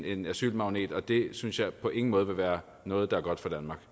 en asylmagnet og det synes jeg på ingen måde vil være noget der er godt